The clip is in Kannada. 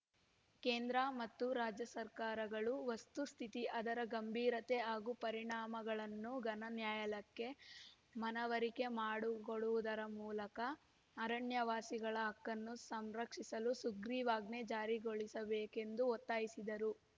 ಕೇಂದ್ರ ಮತ್ತು ರಾಜ್ಯಸರ್ಕಾರಗಳು ವಸ್ತುಸ್ಥಿತಿ ಅದರ ಗಂಭೀರತೆ ಹಾಗೂ ಪರಿಣಾಮಗಳನ್ನು ಘನ ನ್ಯಾಯಾಲಯಕ್ಕೆ ಮನವರಿಕೆ ಮಾಡು ಕೊಡುವುದರ ಮೂಲಕ ಅರಣ್ಯವಾಸಿಗಳ ಹಕ್ಕನ್ನು ಸಂರಕ್ಷಿಸಲು ಸುಗ್ರಿವಾಜ್ಞೆ ಜಾರಿಗೊಳಿಸಬೇಕೆಂದು ಒತ್ತಾಯಿಸಿದರು